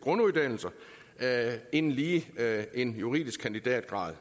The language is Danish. grunduddannelser end lige en juridisk kandidatgrad